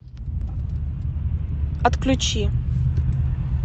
отключи